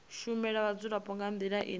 shumela vhadzulapo nga ndila ine